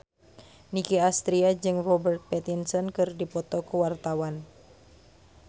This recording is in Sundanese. Nicky Astria jeung Robert Pattinson keur dipoto ku wartawan